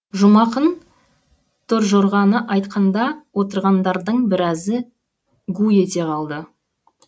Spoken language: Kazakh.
жұмақын торжорғаны айтқанда отырғандардың біразы гу ете қалды